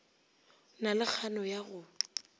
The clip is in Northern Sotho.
na le kgano ya go